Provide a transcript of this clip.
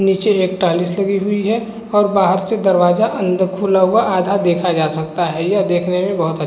नीचे एक टाइल लगी हुई है और बाहर से दरवाजा अंदर खुला हुआ आधा देखा जाता सकता है यह देखने में बहुत अच्छा--